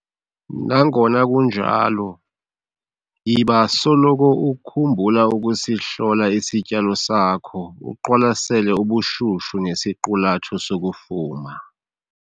Nangona kunjalo, yiba soloko ukhumbula ukusihlola isityalo sakho uqwalasele ubushushu nesiqulatho sokufuma.